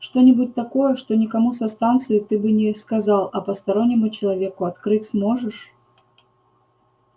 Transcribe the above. что-нибудь такое что никому со станции ты бы не сказал а постороннему человеку открыть сможешь